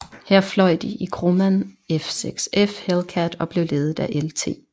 Her fløj de i Grumman F6F Hellcat og blev ledet af Lt